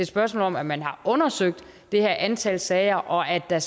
spørgsmål om at man har undersøgt det her antal sager og at der